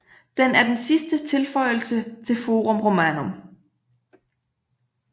Den er den sidste tilføjelse til Forum Romanum